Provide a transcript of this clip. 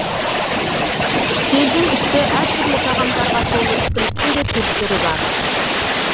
үстелдің үсті әр түрлі тағамдарға толы ішкіліктің де түр түрі бар